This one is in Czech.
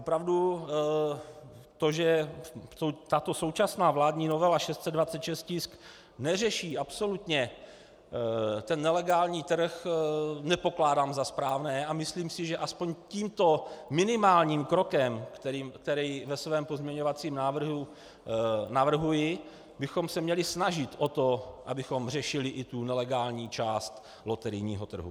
Opravdu to, že tato současná vládní novela, tisk 626, neřeší absolutně ten nelegální trh, nepokládám za správné a myslím si, že aspoň tímto minimálním krokem, který ve svém pozměňovacím návrhu navrhuji, bychom se měli snažit o to, abychom řešili i tu nelegální část loterijního trhu.